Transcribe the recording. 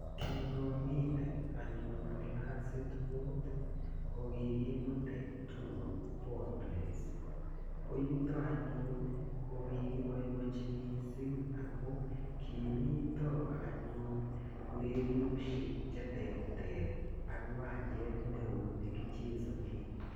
Kingamiten anyun klasit mut ko kikimutech tour Poa Place. Yuto anyun ko kikipoipochi missing' amu kimita anyun urerioshek che terter ak kiwanchet ne oo ne kichesanen.